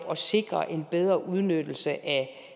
sikrede en bedre udnyttelse af